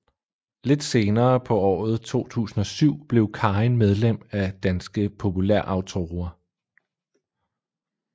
Lidt senere på året 2007 blev Karin medlem af Danske Populærautorer